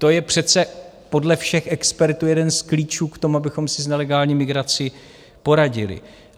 To je přece podle všech expertů jeden z klíčů k tomu, abychom si s nelegální migrací poradili.